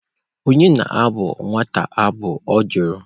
Onye na-abụ nwata abụ?Ọ jụrụ.